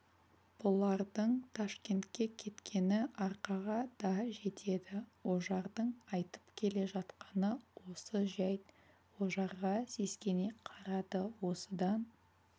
бұлардың ташкентке кеткені арқаға да жетеді ожардың айтып келе жатқаны осы жәйт ожарға сескене қарады осыдан